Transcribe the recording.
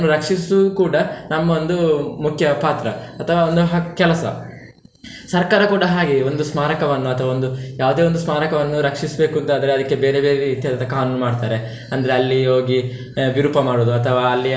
ರಕ್ಷಿಸುದು ಕೂಡ ನಮ್ಮ ಒಂದು ಮುಖ್ಯ ಪಾತ್ರ ಅಥವಾ ಒಂದು ಹಕ್ಕ್~ ಕೆಲಸ. ಸರ್ಕಾರ ಕೂಡ ಹಾಗೆ ಒಂದು ಸ್ಮಾರಕವನ್ನು ಅಥವ ಒಂದು ಯಾವ್ದೇ ಒಂದು ಸ್ಮಾರಕವನ್ನು ರಕ್ಷಿಸ್ಬೇಕು ಅಂತಾದ್ರೆ ಅದಕ್ಕೆ ಬೇರೆ ಬೇರೆ ರೀತಿಯಾದಂತ ಕಾನೂನು ಮಾಡ್ತಾರೆ ಅಂದ್ರೆ ಅಲ್ಲಿ ಹೋಗಿ ವಿರೂಪ ಮಾಡುದು ಅಥವಾ ಅಲ್ಲಿ.